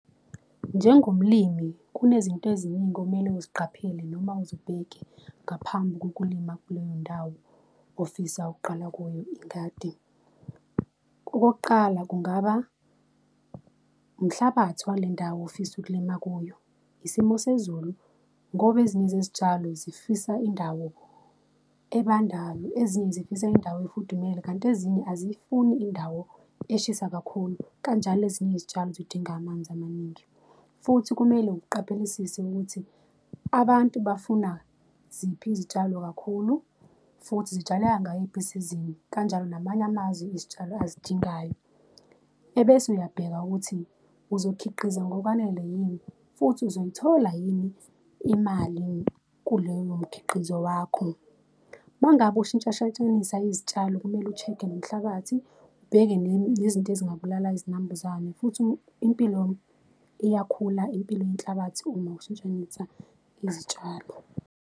Njengomlimi, kunezinto eziningi okumele uziqaphele noma uzibheke ngaphambi kokulima kuleyo ndawo ofisa ukuqala kuyo ingadi. Okokuqala kungaba, umhlabathi wale ndawo ofisa ukulima kuyo, isimo sezulu, ngoba ezinye zezitshalo zifisa indawo ebandayo, ezinye zifisa indawo efudumele, kanti ezinye aziyifuni indawo eshisa kakhulu, kanjalo ezinye izitshalo zidinga amanzi amaningi. Futhi kumele uqaphelesise ukuthi abantu bafuna ziphi izitshalo kakhulu, futhi zitshaleka ngayiphi isizini, kanjalo ngamanye amazwi, izitshalo azidingayo ebese uyabheka ukuthi uzokhiqiza ngokwanele yini, futhi uzoyithola yini imali kuleyo mkhiqizo wakho. Uma ngabe ushintshashintshnisa izitshalo, kumele u-check-e nomhlabathi, ubheke nezinto ezingabulala izinambuzane, futhi impilo iyakhula impilo yenhlabathi uma ushintshanise izitshalo.